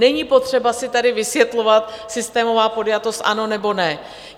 Není potřeba si tady vysvětlovat systémová podjatost ano nebo ne.